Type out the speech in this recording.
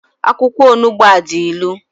Akwụkwọ onugbu ọ dị ilu?